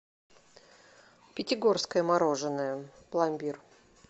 пятигорское мороженое пломбир